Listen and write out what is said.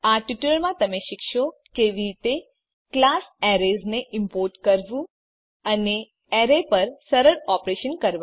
આ ટ્યુટોરીયલમાં તમે શીખશો કે કેવી રીતે ક્લાસ એરેઝ ને ઈમ્પોર્ટ કરવું અને એરે પર સરળ ઓપરેશન્સ કરવા